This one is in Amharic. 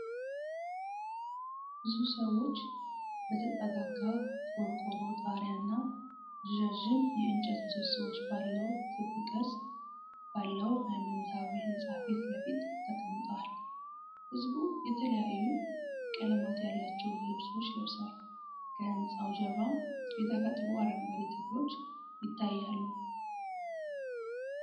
ብዙ ሰዎች በተጠጋጋ ቆርቆሮ ጣሪያና ረዣዥም የእንጨት ምሰሶዎች ባለው ክብ ቅርጽ ባለው ሃይማኖታዊ ሕንፃ ፊት ለፊት ተቀምጠዋል። ሕዝቡ የተለያዩ ቀለማት ያላቸውን ልብሶች ለብሰዋል፣ ከሕንፃው ጀርባም የተፈጥሮ አረንጓዴ ተክሎች ይታያሉ።